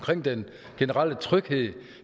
den generelle tryghed